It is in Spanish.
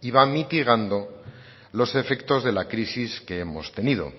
y va mitigando los efectos de la crisis que hemos tenido